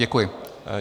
Děkuji.